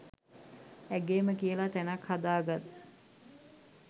ඇගේම කියලා තැනක් හදා ගත්